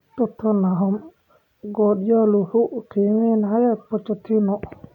Tottenham: Guardiola 'wuxuu i xumeynayaa' - Pochettino